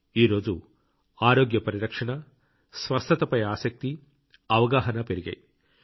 ఈరోజు ఆరోగ్య పరిరక్షణ స్వస్థతపై ఆసక్తి అవగాహన పెరిగాయి